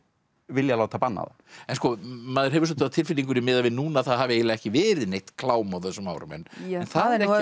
vilja láta banna það en sko maður hefur svolítið á tilfinningunni miðað við núna að það hafi eiginlega ekki verið neitt klám á þessum árum það er